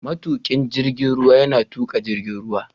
Matukin jirgin ruwa yana tuka jirgin ruwa.